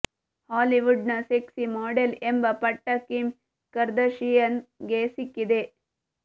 Hollywood ನ sexy model ಎಂಬ ಪಟ್ಟ ಕಿಮ್ ಕರ್ದಾಶಿಯನ್ ಗೆ ಸಿಕ್ಕಿದೆ